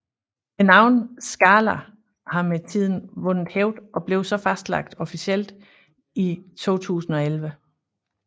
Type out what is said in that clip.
Navnet Skála har med tiden vundet hævd og blev så fastlagt officielt i 2011